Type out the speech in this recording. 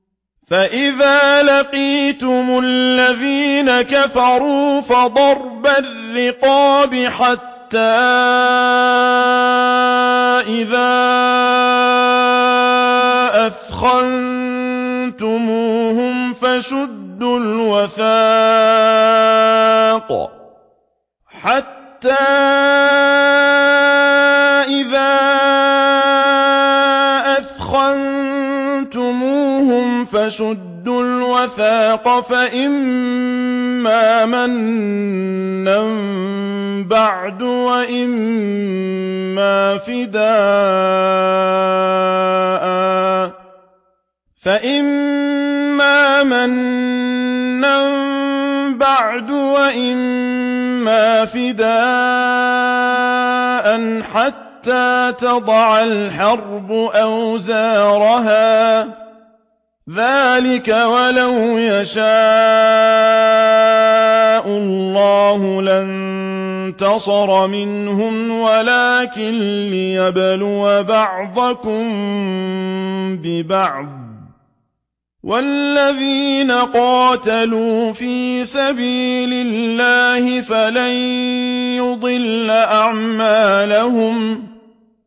فَإِذَا لَقِيتُمُ الَّذِينَ كَفَرُوا فَضَرْبَ الرِّقَابِ حَتَّىٰ إِذَا أَثْخَنتُمُوهُمْ فَشُدُّوا الْوَثَاقَ فَإِمَّا مَنًّا بَعْدُ وَإِمَّا فِدَاءً حَتَّىٰ تَضَعَ الْحَرْبُ أَوْزَارَهَا ۚ ذَٰلِكَ وَلَوْ يَشَاءُ اللَّهُ لَانتَصَرَ مِنْهُمْ وَلَٰكِن لِّيَبْلُوَ بَعْضَكُم بِبَعْضٍ ۗ وَالَّذِينَ قُتِلُوا فِي سَبِيلِ اللَّهِ فَلَن يُضِلَّ أَعْمَالَهُمْ